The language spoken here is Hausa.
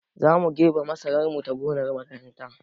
Zamu girbe masarar mu ta gonar makaranta